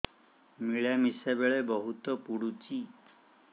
ମିଳାମିଶା ବେଳେ ବହୁତ ପୁଡୁଚି